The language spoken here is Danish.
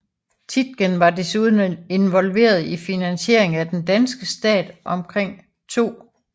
Tietgen var desuden involveret i finansiering af den danske stat omkring 2